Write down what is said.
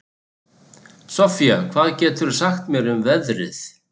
Soffía, hvað geturðu sagt mér um veðrið?